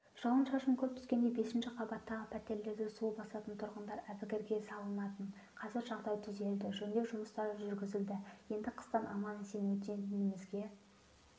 жауын-шашын көп түскенде бесінші қабаттағы пәтерлерді су басатын тұрғындар әбігерге салынатын қазір жағдай түзелді жөндеу жұмыстары жүргізілді енді қыстан аман-есен өтетінімізге